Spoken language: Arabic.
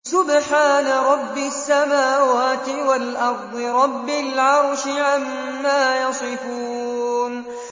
سُبْحَانَ رَبِّ السَّمَاوَاتِ وَالْأَرْضِ رَبِّ الْعَرْشِ عَمَّا يَصِفُونَ